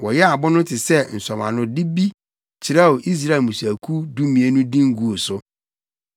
Wɔyɛɛ abo no te sɛ nsɔwanode bi kyerɛw Israel mmusuakuw dumien no din guu so.